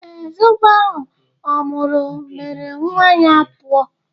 Ee, zobo ahụ ọ nwụrụ mere nwa ya ọ pụọ